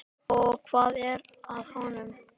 Og hvað er að honum?